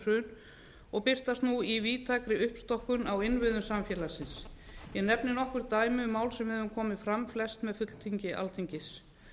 hrun og birtast nú í víðtækri uppstokkun á innviðum samfélagsins ég nefni nokkur dæmi um mál sem við höfum komið fram flest með fulltingi alþingis